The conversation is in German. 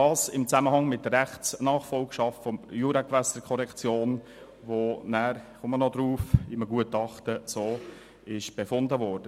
Das steht in der Nachfolgschaft der Juragewässerkorrektion, zu der ein Rechtsgutachten dies so befunden hatte.